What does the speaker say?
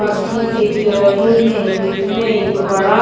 पक्षी दिख रहे हैं बीच में एक बड़ा--